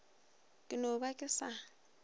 ke no ba ke sa